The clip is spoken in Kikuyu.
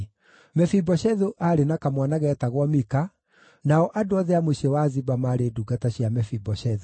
Mefiboshethu aarĩ na kamwana geetagwo Mika, nao andũ othe a mũciĩ wa Ziba maarĩ ndungata cia Mefiboshethu.